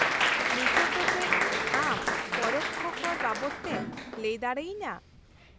-ᱱᱤᱛᱳᱜ ᱫᱚ ᱪᱮᱫ ᱟᱢ ᱯᱚᱨᱚᱠᱽᱠᱷᱚ ᱠᱚᱨ ᱵᱟᱵᱚᱫᱛᱮᱢ ᱞᱟᱹᱭ ᱫᱟᱲᱮᱭᱟᱹᱧᱟᱹ ?